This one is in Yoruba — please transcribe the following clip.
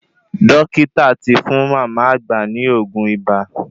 Dókítà tí fún mama àgbà ní oògùn ibà